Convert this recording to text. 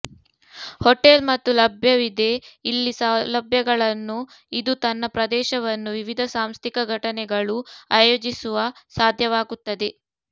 hotel ಮತ್ತು ಲಭ್ಯವಿದೆ ಇಲ್ಲಿ ಸೌಲಭ್ಯಗಳನ್ನು ಇದು ತನ್ನ ಪ್ರದೇಶವನ್ನು ವಿವಿಧ ಸಾಂಸ್ಥಿಕ ಘಟನೆಗಳು ಆಯೋಜಿಸುವ ಸಾಧ್ಯವಾಗುತ್ತದೆ